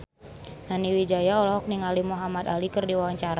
Nani Wijaya olohok ningali Muhamad Ali keur diwawancara